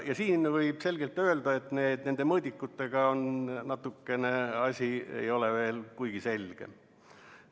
Võib selgelt öelda, et nende mõõdikutega ei ole asi veel kuigi selge.